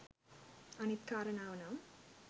අනිත් කාරණාව නම්